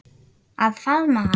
Að faðma hana.